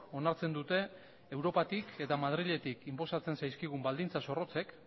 onartzen dute europatik eta madriletik inposatzen zaizkigun baldintza zorrotzek